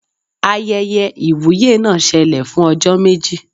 Ayẹyẹ ìwúyè náà ṣẹlẹ̀ fún ọjọ́ méjì